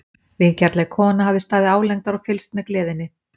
Vingjarnleg kona hafði staðið álengdar og fylgst með gleðinni.